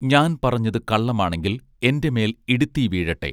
ഞാൻ പറഞ്ഞത് കള്ളമാണെങ്കിൽ എന്റെമേൽ ഇടിത്തീ വീഴട്ടെ